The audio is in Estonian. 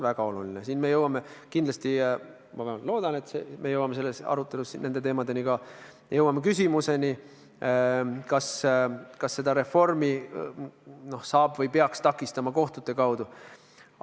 Me jõuame siin kindlasti või ma vähemalt loodan, et me jõuame selles arutelus nende teemadeni ka, et me jõuame küsimuseni, kas seda reformi saab takistada või peaks takistama kohtute kaudu.